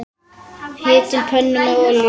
Hitið pönnu með olíu.